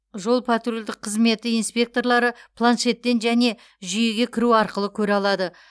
жол патрульдік қызметі инспекторлары планшеттен және жүйеге кіру арқылы көре алады